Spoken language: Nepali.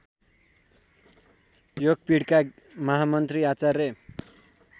योगपीठका महामन्त्री आचार्य